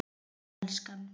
Já, elskan?